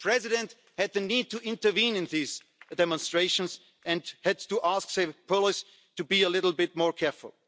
The President needed to intervene in these demonstrations and had to ask the police to be more careful.